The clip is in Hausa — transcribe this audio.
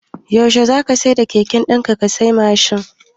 Yaushe zaka siyar da keken dan ka siya Mashin ɗin?